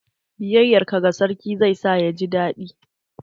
Biyayar ka ga sarki zai sa ya ji daɗi.